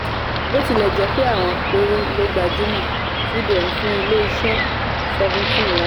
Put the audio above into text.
bí ó tilẹ̀ jẹ́ pé àwọn péré ló gbajúmọ̀ cbn fún ilé-iṣẹ́ seventeen lá